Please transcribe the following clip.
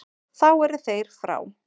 Þá eru þeir frá.